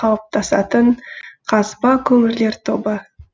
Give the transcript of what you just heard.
қалыптасатын қазба көмірлер тобы